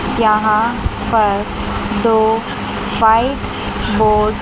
यहां पर दो व्हाइट बोर्ड --